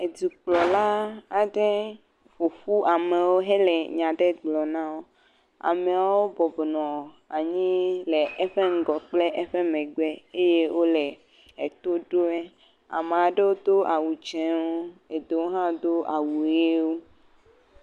Edukplɔla aɖe ƒoƒu amewo hele nya aɖe gblɔm na wo. Ameawo bɔbɔnɔ anyi le eƒe ŋgɔ kple eƒe megbe eye wo le eto ɖom wo. Ame aɖewo do awu dzewo eɖewo hã do awu ʋiwo.